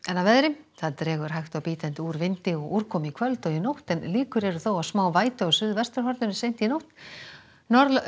að veðri það dregur hægt og bítandi úr vindi og úrkomu í kvöld og nótt en líkur eru þó á smá vætu á suðvesturhorninu seint í nótt